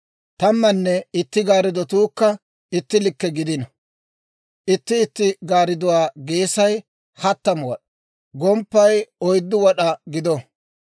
Tammanne itti gaarddatuukka itti likke gidino; itti itti gaardduwaa geesay hattamu wad'aa, gomppay oyddu wad'aa gido.